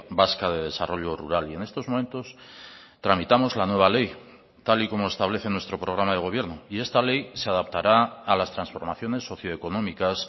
vasca de desarrollo rural y en estos momentos tramitamos la nueva ley tal y como establece nuestro programa de gobierno y esta ley se adaptará a las transformaciones socioeconómicas